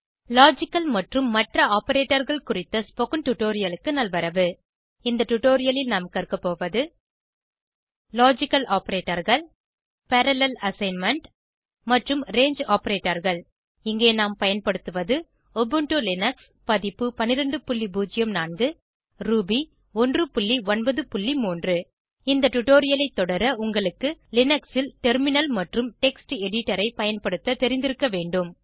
logical மற்றும் மற்ற Operatorகள் குறித்த ஸ்போகன் டுடோரியலுக்கு நல்வரவு இந்த டுடோரியலில் நாம் கற்கபோவது லாஜிக்கல் Operatorகள் பரல்லேல் அசைன்மென்ட் மற்றும் ரங்கே Operatorகள் இங்கே நாம் பயன்படுத்துவது உபுண்டு லினக்ஸ் பதிப்பு 1204 ரூபி 193 இந்த டுடோரியலை தொடர உங்களுக்கு லினக்ஸில் டெர்மினல் மற்றும் டெக்ஸ்ட் எடிடரை பயன்படுத்த தெரிந்திருக்க வேண்டும்